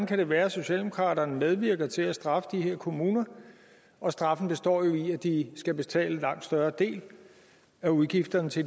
kan være at socialdemokraterne medvirker til at straffe de her kommuner og straffen består jo i at de skal betale en langt større del af udgifterne til